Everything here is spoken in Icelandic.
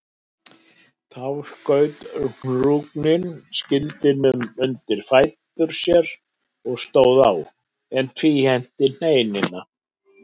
Þá skaut Hrungnir skildinum undir fætur sér og stóð á, en tvíhenti heinina.